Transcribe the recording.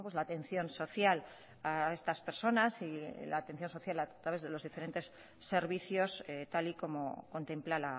la atención social a estas personas la atención social a los diferentes servicios tal y como contempla